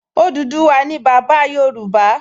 Odùduwà ni bàbá Yorùbá